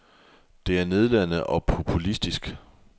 Det er nedladende og populistisk.